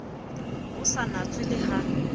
ho sa natswe le ha